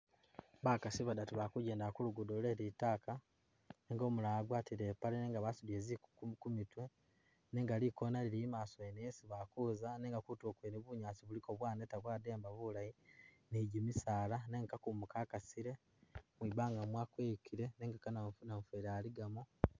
Bakasi badatu bali kugendela ku luguudo kwe litaaka nenga umulala ipaale nenga basudile ziku kumitu nenga likoona lili i'maaso yene yesi bali kuza nenga kutulo kwene kuliko bunyaasi bwaneta bwadyamba bulayi ni gimisaala nenga kakumu kakasile, mwibanga mwakuyikile nenga ka na namufweli aligamu.